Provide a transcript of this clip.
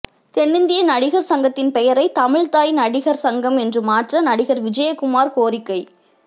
தென்னிந்திய நடிகர் சங்கத்தின் பெயரை தமிழ்த்தாய் நடிகர் சங்கம் என்று மாற்ற நடிகர் விஜயகுமார் கோரிக்கை